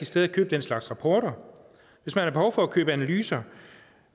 sted at købe den slags rapporter hvis man har behov for at købe analyser